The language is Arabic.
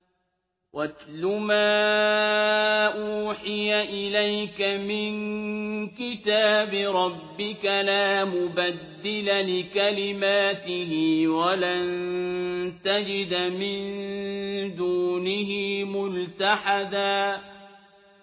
وَاتْلُ مَا أُوحِيَ إِلَيْكَ مِن كِتَابِ رَبِّكَ ۖ لَا مُبَدِّلَ لِكَلِمَاتِهِ وَلَن تَجِدَ مِن دُونِهِ مُلْتَحَدًا